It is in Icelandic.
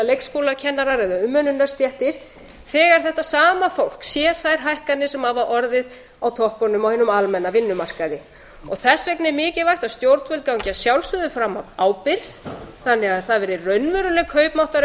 leikskólakennarar eða umönnunarstéttum þegar þetta sama fólk sér þær hækkanir sem hafa orðið á toppunum á hinum almenna vinnumarkaði þess vegna er mikilvægt að stjórnvöld gangi að sjálfsögðu fram af ábyrgð þannig að það verði raunveruleg kaupmáttar